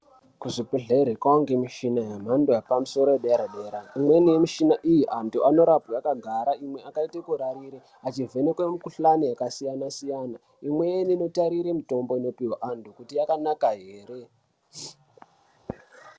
Kuzvibhedhlere kwaa ngemishina yemhando yepamusoro yedera-dera. Imweni yemishina iyi antu anorapwa akagara, imwe akaite kurarire achivhenekwe mikuhlani yakasiyana-siyana. Imweni inotarire mitombo inopihwe antu kuti yakanaka here.